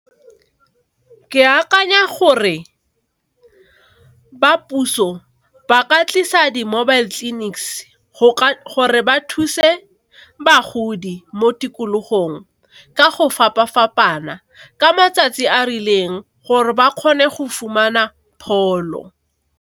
Ke akanya gore ba puso ba ka tlisa di mobile clinics ba thuse bagodi mo tikologong ka go fapa fapana ka matsatsi a rileng gore ba kgone go fumana pholo.